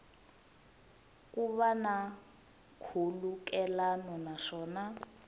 ku va na nkhulukelano naswona